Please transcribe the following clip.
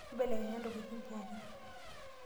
Imbelekenya ntokitin pookin?